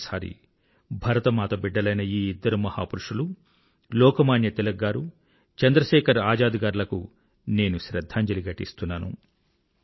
మరొక్కసారి భరతమాత బిడ్డలైన ఈ ఇద్దరు మహాపురుషులు లోకమాన్యతిలక్ గారు చంద్రశేఖర్ ఆజాద్ గార్లకు నేను శ్రధ్ధాంజలి ఘటిస్తున్నాను